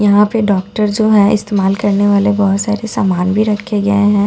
यहां पे डॉक्टर जो है इस्तेमाल करने वाले बहुत से सामान भी रखे गए हैं और ये --